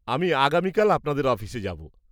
-আমি আগামীকাল আপনাদের অফিসে যাব।